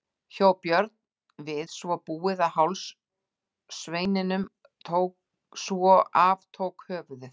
Hjó Björn við svo búið á háls sveininum svo af tók höfuðið.